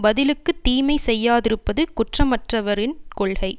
பதிலுக்குத் தீமை செய்யாதிருப்பது குற்றமற்றவரின் கொள்கை